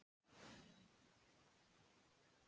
En síðan fari að hlýna.